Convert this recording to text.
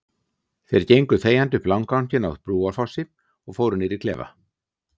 Þeir gengu þegjandi upp landganginn á Brúarfossi og fóru niður í klefa.